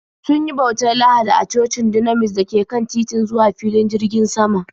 Sun yi bautar Lahadi a cocin Dunamis da ke kan titin zuwa filin jirgin sama.